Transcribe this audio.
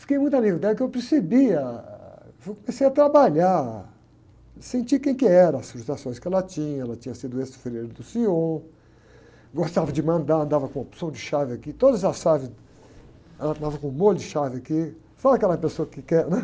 Fiquei muito amigo dela, porque eu percebia, eu comecei a trabalhar, senti quem que era, as frustrações que ela tinha, ela tinha sido ex-freira do senhor, gostava de mandar, andava com uma porção de chaves aqui, todas as chaves, ela andava com um molho de chave aqui, sabe aquela pessoa que quer, né?